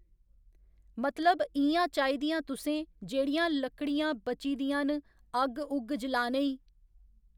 मतलब इयां चाहिदियां तुसें जेह्‌ड़ियां लकड़ियां बची दियां ना अग्ग उग्ग जलाने ई